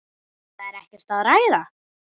Það er ekkert að ræða.